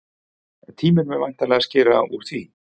Tíminn mun væntanlega skera úr því.